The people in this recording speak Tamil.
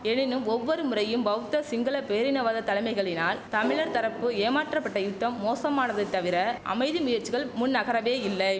எனினும் ஒவ்வொரு முறையும் பௌத்த சிங்கள பேரினவாத தலைமைகளினால் தமிழர் தரப்பு ஏமாற்றப்பட யுத்தம் மோசமானதே தவிர அமைதி முயற்சிகள் முன்நகரவே இல்லை